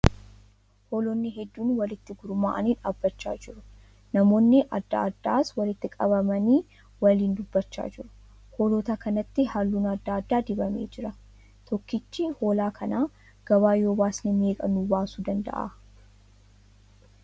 Hoolonni hedduun walitti gurmaa'anii dhaabbachaa jiru. Namoonni adda addaas walitti qabamanii waliin dubbachaa jiru. Hoolota kanatti halluun adda addaa dibamee jira. Tokkichi hoolaa kana gabaa yoo baasne meeqa nu baasuu dandahaa?